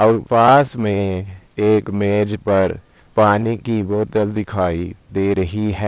और पास में एक मेज पर पानी की बोतल दिखाई दे रही है।